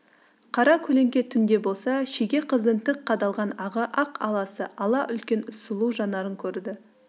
қара көлеңке түн де болса шеге қыздың тік қадалған ағы ақ аласы ала үлкен сұлу жанарын көрді